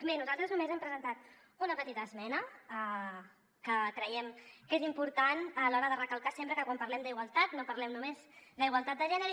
bé nosaltres només hem presentat una petita esmena que creiem que és important recalcar sempre que quan parlem d’igualtat no parlem no·més d’igualtat de gènere